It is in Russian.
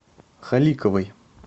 халиковой